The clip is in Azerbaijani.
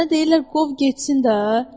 Sənə deyirlər qov getsin da.